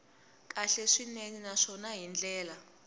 kahle swinene naswona hi ndlela